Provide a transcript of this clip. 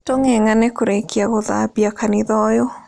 Tũng'eng'ane kũrĩkia gũthambia kanitha ũyũ